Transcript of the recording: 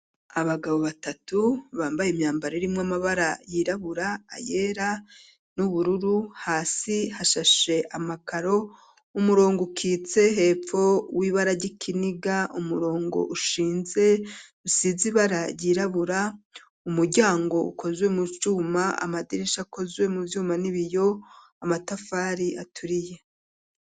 Abagabo batatu bambaye imyambaro irimwe amabara yirabura ayera n'ubururu hasi hashashe amakaro umurongo ukitse hepfo w'ibara g'ikiniga umurongo ushinze rusizibara yirabura umuryango ukozwe mu cuma amadirisha akozwe mu vyuma n'ibiyo amatafari aturiye.